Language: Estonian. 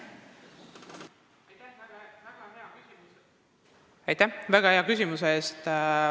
Aitäh väga hea küsimuse eest!